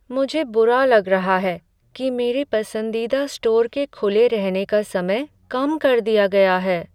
मुझे बुरा लग रहा है कि मेरे पसंदीदा स्टोर के खुले रहने का समय कम कर दिया गया है।